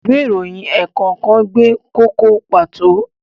Ìwé ìròyìn ẹ̀ẹ̀kọ̀kan gbé kókó pàtó.